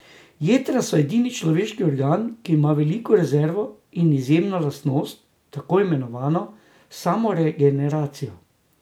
Jetra so edini človeški organ, ki ima veliko rezervo in izjemno lastnost, tako imenovano samoregeneracijo.